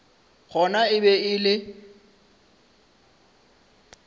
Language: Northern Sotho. gona e be e le